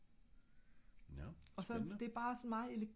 nårh spændende